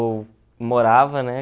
morava, né?